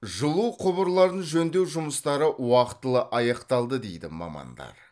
жылу құбырларын жөндеу жұмыстары уақытылы аяқталды дейді мамандар